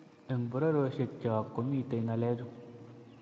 Eng pororiosiekcho komitei ngalechu